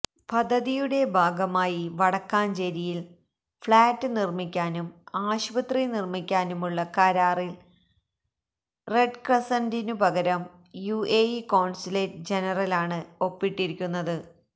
പദ്ധതിയുടെ ഭാഗമായി വടക്കാഞ്ചേരിയിൽ ഫ്ളാറ്റ് നിർമിക്കാനും ആശുപത്രി നിർമിക്കാനുമുള്ള കരാറിൽ റെഡ്ക്രസൻഡിനു പകരം യുഎഇ കോൺസുലേറ്റ് ജനറലാണ് ഒപ്പിട്ടിരിക്കുന്നത്